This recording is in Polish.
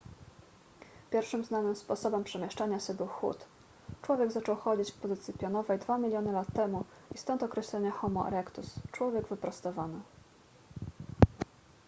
pierwszym znanym sposobem przemieszczania się był chód; człowiek zaczął chodzić w pozycji pionowej dwa miliony lat temu i stąd określenie homo erectus człowiek wyprostowany